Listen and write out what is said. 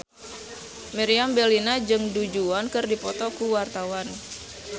Meriam Bellina jeung Du Juan keur dipoto ku wartawan